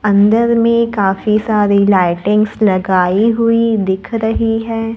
अंदर में काफी सारी लाइटिंग्स लगाई हुई दिख रही है।